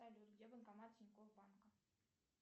салют где банкомат тинькофф банка